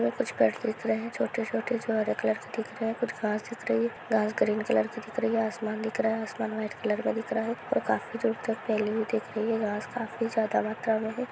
कुछ कर देख रहे छोटे छोटे एक लड़की देख रहे हैं कुछ खास दिख रही हैं घास ग्रीन कलर की दिख रही हैं आसमान नीला आसमान व्हाइट कलर में दिख रहा हैं और काफी जोर से पहले भी देख रही हैं घास खांसी ज्यादा मात्रा हैं।